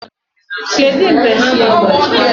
Kedu mgbe hama gbajiri?